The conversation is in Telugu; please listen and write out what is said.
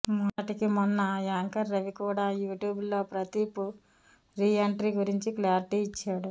మొన్నటికి మొన్న యాంకర్ రవి కూడా యూ ట్యూబ్లో ప్రదీప్ రీ ఎంట్రీ గురించి క్లారిటీ ఇచ్చాడు